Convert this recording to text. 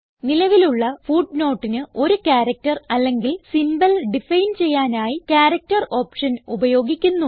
നിലവിലുള്ള footnoteന് ഒരു ക്യാരക്റ്റർ അല്ലെങ്കിൽ സിംബൽ ഡിഫൈൻ ചെയ്യാനായി ക്യാരക്ടർ ഓപ്ഷൻ ഉപയോഗിക്കുന്നു